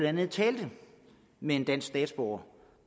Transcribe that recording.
andet talte med en dansk statsborger